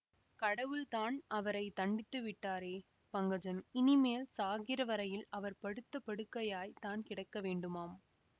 கடவுள்தான் அவரை தண்டித்து விட்டாரே பங்கஜம் இனிமேல் சாகிற வரையில் அவர் படுத்த படுக்கையாய்த் தான் கிடக்க வேண்டுமாம்